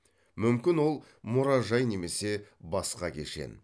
мүмкін ол мұражай немесе басқа кешен